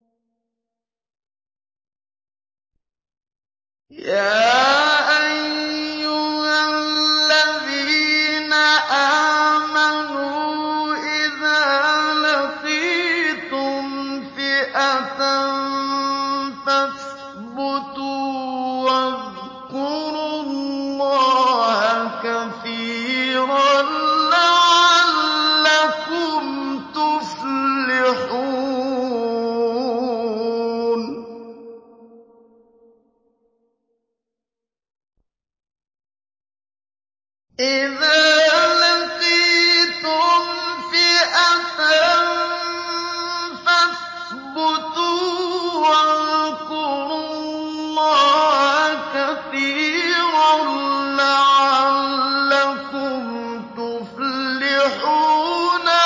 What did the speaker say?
يَا أَيُّهَا الَّذِينَ آمَنُوا إِذَا لَقِيتُمْ فِئَةً فَاثْبُتُوا وَاذْكُرُوا اللَّهَ كَثِيرًا لَّعَلَّكُمْ تُفْلِحُونَ